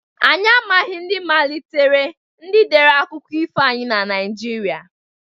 Anyị amaghị ndị malitere/ndị dere akụkọ ifo anyị na Naịjirịa